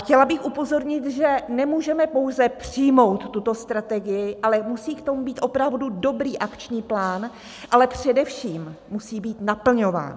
Chtěla bych upozornit, že nemůžeme pouze přijmout tuto strategii, ale musí k tomu být opravdu dobrý akční plán, ale především musí být naplňován.